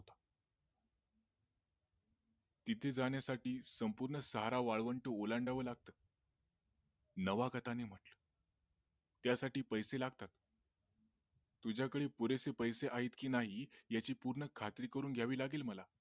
तिथे जाण्यासाठी संपूर्ण सहारा वाळवंट ओलांडावे लागत नावागताने त्या साठी पैसे लागतात तुझा कडे पुरेसे पैसे आहेत की नाही याची पूर्ण खात्री करून घ्यावी लागेल मला